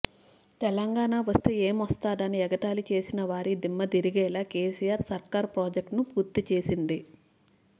తెలంగాణ వస్తే ఏమోస్తదని ఎగతాళి చేసిన వారి దిమ్మదిరిగేలా కేసీఆర్ సర్కార్ ప్రాజెక్టును పూర్తి చేసింది